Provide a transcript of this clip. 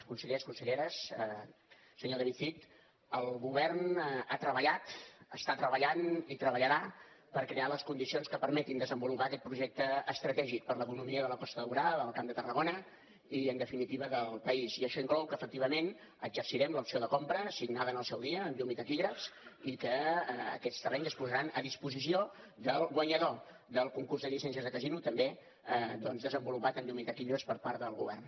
consellers conselleres senyor david cid el govern ha treballat està treballant i treballarà per crear les condicions que permetin desenvolupar aquest projecte estratègic per l’economia de la costa daurada del camp de tarragona i en definitiva del país i això inclou que efectivament exercirem l’opció de compra signada en el seu dia amb llum i taquígrafs i que aquests terrenys es posaran a disposició del guanyador del concurs de llicències de casino també doncs desenvolupat amb llum i taquígrafs per part del govern